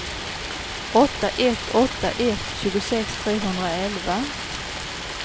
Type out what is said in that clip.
åtta ett åtta ett tjugosex trehundraelva